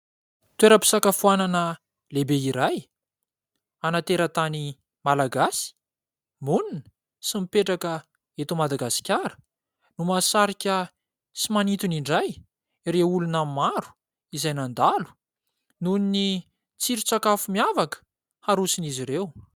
Toeram-pisakafoanana lehibe iray ana-teratany Malagasy monina sy mipetraka eto Madagasikara no mahasarika sy manintona indray ireo olona maro izay mandalo noho ny tsiron-tsakafo miavaka haroson'izy ireo.